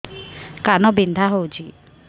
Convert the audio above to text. କାନ ବିନ୍ଧା ହଉଛି